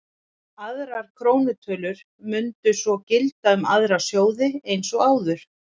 Aðrar krónutölur mundu svo gilda um aðra sjóði eins og áður.